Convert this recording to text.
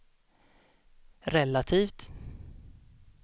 relativt